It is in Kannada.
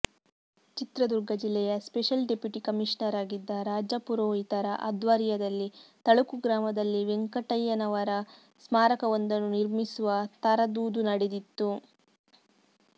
ಚಿತ್ರದುರ್ಗ ಜಿಲ್ಲೆಯ ಸ್ಪೆಷಲ್ ಡೆಪ್ಯುಟಿ ಕಮಿಷನರಾಗಿದ್ದ ರಾಜಪುರೋಹಿತರ ಅಧ್ವರ್ಯದಲ್ಲಿ ತಳುಕು ಗ್ರಾಮದಲ್ಲಿ ವೆಂಕಣ್ಣಯ್ಯನವರ ಸ್ಮಾರಕವೊಂದನ್ನು ನಿರ್ಮಿಸುವ ತರದೂದು ನಡೆದಿತ್ತು